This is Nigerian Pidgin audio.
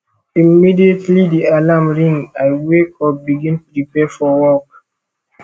immediately di alarm ring i wake up begin prepare for work